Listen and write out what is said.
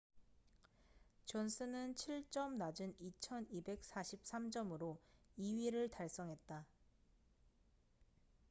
존슨은 7점 낮은 2,243점으로 2위를 달성했다